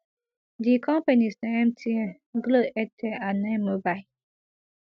di companies na mtn glo airtel and ninemobile